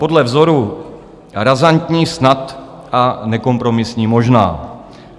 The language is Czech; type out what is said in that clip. Podle vzoru "razantní snad" a "nekompromisní možná".